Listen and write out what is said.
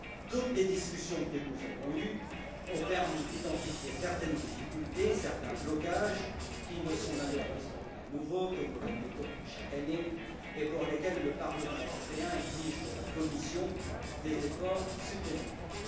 Toutes les discussions que nous avons eues ont permis d'identifier certaines difficultés et certains blocages qui ne sont malheureusement pas nouveaux, que nous répétons chaque année et pour lesquels le Parlement européen exige de la Commission des efforts supplémentaires.